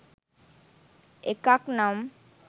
එකක් නම්